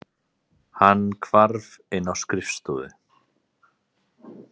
Hann hvarf inn á skrifstofu.